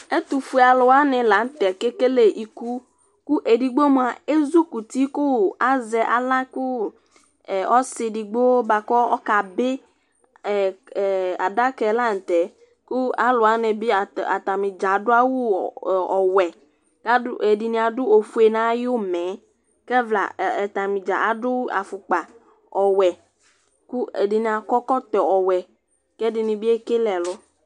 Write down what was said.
Ɛtʋ fue alʋ wanɩ la nʋ tɛ kekele iku Kʋ edigbo mʋa, ezukuti kʋ azɛ aɣla kʋ ɔsɩ digbo bʋa kʋ ɔka bɩAdakɛ la nʋ tɛ kʋ alʋ wanɩ bɩ atanɩ dza adʋ awʋ ɔwɛ, ɛdɩnɩ adʋ ofue nayʋmɛɛKɛfla atanɩ dza adʋ afʋkpa ɔwɛ, kʋ ɛdɩnɩ akɔ ɛkɔtɔ ɔwɛ, kɛdɩnɩ bɩ ekele ɛlʋ